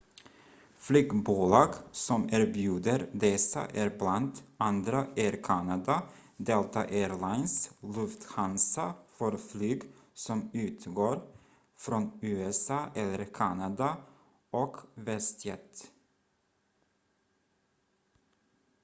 flygbolag som erbjuder dessa är bland andra air canada delta air lines lufthansa för flyg som utgår från usa eller kanada och westjet